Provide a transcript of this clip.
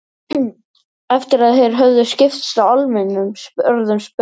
Eftir að þeir höfðu skipst á almennum orðum spurði